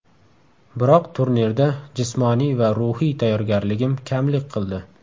Biroq turnirda jismoniy va ruhiy tayyorgarligim kamlik qildi.